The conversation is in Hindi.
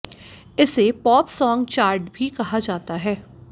इसे पॉप सॉन्ग चार्ट भी कहा जाता है